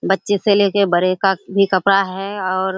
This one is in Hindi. बच्चों से ले के बड़े का भी कपड़ा है और --